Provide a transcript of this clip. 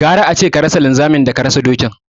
Gara ace ka rasa linzami daka rasa dokin